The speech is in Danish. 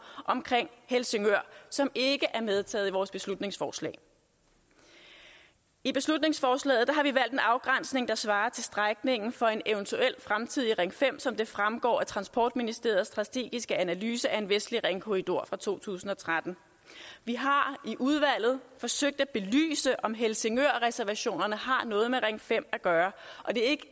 omkring helsingør som ikke er medtaget i vores beslutningsforslag i beslutningsforslaget har vi valgt en afgrænsning der svarer til strækningen for en eventuel fremtidig ring fem som det fremgår af transportministeriets strategiske analyse af en vestlig ringkorridor fra to tusind og tretten vi har i udvalget forsøgt at belyse om helsingørreservationerne har noget med ring fem at gøre og det er